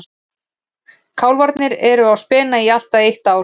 Kálfarnir eru á spena í allt að eitt ár.